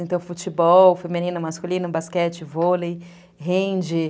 Então, futebol, feminino, masculino, basquete, vôlei, rende.